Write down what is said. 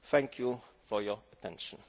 Thank you for your attention.